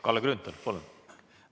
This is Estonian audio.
Kalle Grünthal, palun!